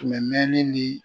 mɛɛni ni